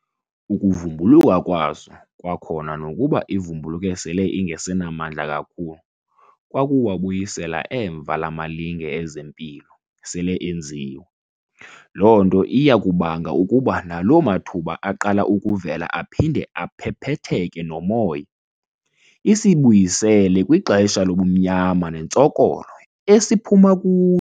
Ukuvumbuluka kwaso kwakhona nokuba ivumbuluke sele ingasenamandla kakhulu kwakuwabuyisela emva la malinge ezempilo sele enziwe. Lo nto iyakubanga ukuba nalo mathuba aqala ukuvela aphinde aphephetheke nomoya, isibuyisele kwixesha lobumnyama nentsokolo esiphuma ku.